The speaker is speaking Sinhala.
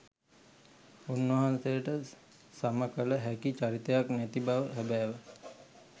උන්වහන්සේට සමකල හැකි චරිතයක් නැති බව හැබෑව